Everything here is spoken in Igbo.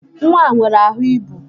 Nwa a nwere ahụ ibu